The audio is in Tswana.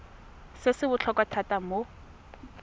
se se botlhokwa thata mo